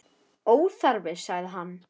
Óþarfi, sagði hann.